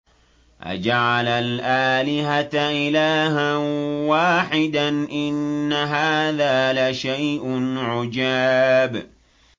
أَجَعَلَ الْآلِهَةَ إِلَٰهًا وَاحِدًا ۖ إِنَّ هَٰذَا لَشَيْءٌ عُجَابٌ